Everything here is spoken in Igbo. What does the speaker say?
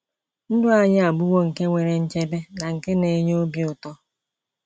Ndụ anyị abụwo nke nwere nchebe na nke na-enye obi ụtọ.